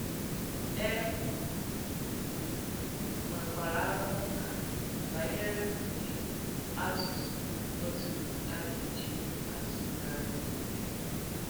E nwèkwàrà àrụ̀mùkà banyere ùdì àsùsù Pòrtùgùese a ga-ejì àsùghàrì ya.